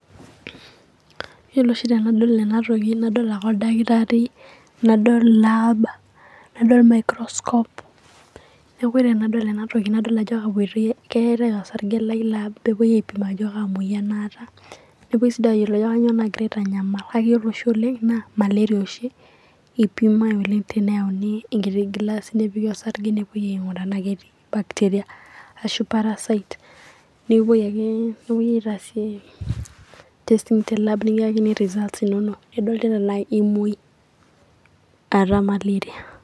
Yielo oshi tenadol ena toki nadol ake oldakitari, nadol laab, nadol emaikroskop, neeku ore tenadol ena toki nadol ajo keetae osarge Lai laab peepoe adol ajo kaa moyian aata. Nepoe sii duo ayiolou aajo kaa moyian naagira aitanyamal kake Yiolo oshi oleng' naa maleria oshi, eipimae oleng' teneyauni engilasi nepiki osarge nepoe oing'uraa tenaa ketii bacteria ashu parasites nikikpoi ake nepoe aitaasie tesing telaab nikiyakini results inonok, nidol tenaa emoi aata maleria.